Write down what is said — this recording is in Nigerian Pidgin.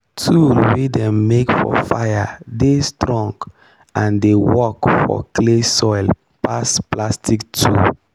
tool wey dem make for fire dey strong and dey work for clay soil pass plastic tool.